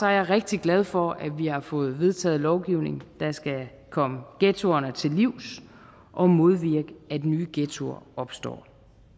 jeg rigtig glad for at vi har fået vedtaget en lovgivning der skal komme ghettoerne til livs og modvirke at nye ghettoer opstår